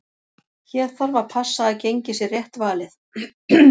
Hér þarf að passa að gengið sé rétt valið.